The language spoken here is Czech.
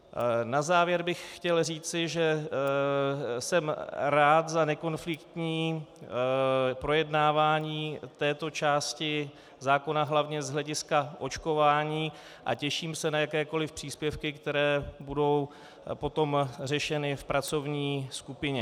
Na závěr bych chtěl říci, že jsem rád za nekonfliktní projednávání této části zákona hlavně z hlediska očkování a těším se na jakékoli příspěvky, které budou potom řešeny v pracovní skupině.